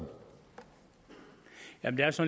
når den så